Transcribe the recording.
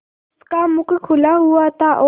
उसका मुख खुला हुआ था और